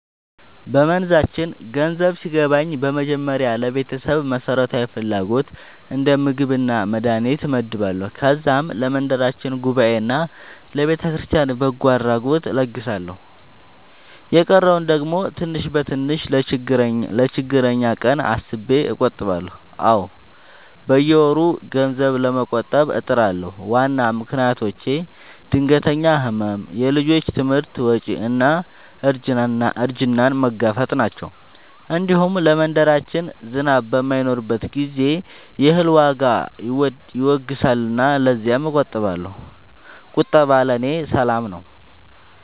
በመንዛችን ገንዘብ ሲገባኝ በመጀመሪያ ለቤተሰብ መሠረታዊ ፍላጎት እንደ ምግብና መድሀኒት እመድባለሁ። ከዛም ለመንደራችን ጉባኤና ለቤተክርስቲያን በጎ አድራጎት እለግሳለሁ። የቀረውን ደግሞ ትንሽ በትንሽ ለችግረኛ ቀን አስቤ እቆጥባለሁ። አዎ፣ በየወሩ ገንዘብ ለመቆጠብ እጥራለሁ። ዋና ምክንያቶቼ ድንገተኛ ሕመም፣ የልጆች ትምህርት ወጪ እና እርጅናን መጋፈጥ ናቸው። እንዲሁም ለመንደራችን ዝናብ በማይኖርበት ጊዜ የእህል ዋጋ ይወገሳልና ለዚያም እቆጥባለሁ። ቁጠባ ለእኔ ሰላም ነው።